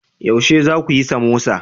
Yaushe za ku yi samosa?